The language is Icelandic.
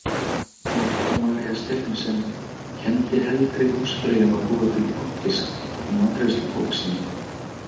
Marta María Stephensen kenndi heldri húsfreyjum að búa til plokkfisk í matreiðslubók sinni.